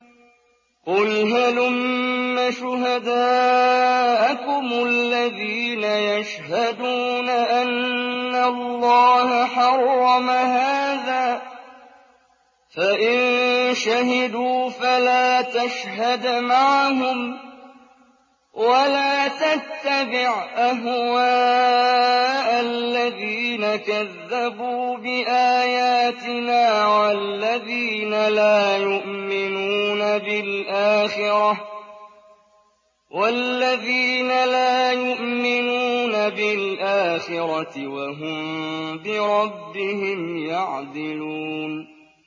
قُلْ هَلُمَّ شُهَدَاءَكُمُ الَّذِينَ يَشْهَدُونَ أَنَّ اللَّهَ حَرَّمَ هَٰذَا ۖ فَإِن شَهِدُوا فَلَا تَشْهَدْ مَعَهُمْ ۚ وَلَا تَتَّبِعْ أَهْوَاءَ الَّذِينَ كَذَّبُوا بِآيَاتِنَا وَالَّذِينَ لَا يُؤْمِنُونَ بِالْآخِرَةِ وَهُم بِرَبِّهِمْ يَعْدِلُونَ